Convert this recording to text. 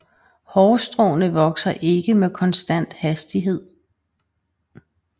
Hårstråene vokser ikke med konstant hastighed